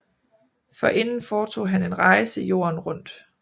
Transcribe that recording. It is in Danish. Forinden foretog han en rejse jorden rundt